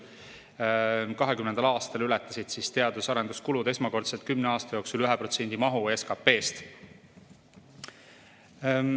2020. aastal ületasid teadus- ja arenduskulud esmakordselt kümne aasta jooksul 1% mahu SKP-st.